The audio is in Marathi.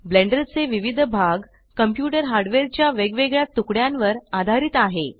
ब्लेंडर चे विविध भाग कंप्यूटर हार्डवेयर च्या वेगवेगळ्या तुकड्यांवर आधारित आहे